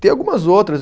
Tem algumas outras.